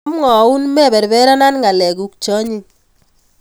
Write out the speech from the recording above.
Amwaun meperperana ng'alekuk che anyiny